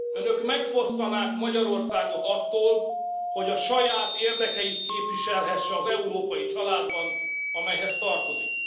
Önök megfosztanák Magyarországot attól, hogy a saját érdekeit képviselhesse az európai családban, amelyhez tartozik.